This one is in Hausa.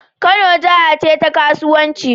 Kano jaha ce ta ƙasauwanci